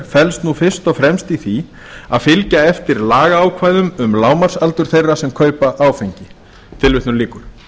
felst nú fyrst og fremst í því að fylgja eftir lagaákvæðum um lágmarksaldur þeirra sem kaupa áfengi tilvitnun lýkur